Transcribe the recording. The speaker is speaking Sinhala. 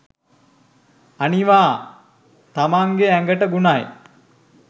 අනිවා තමංගෙ ඇගට ගුණයි.